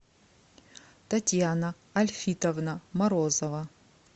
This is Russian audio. татьяна альфитовна морозова